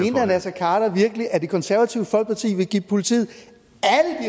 herre naser khader virkelig at det konservative folkeparti vil give politiet